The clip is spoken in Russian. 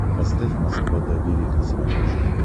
поставь москва доверие на смотрешке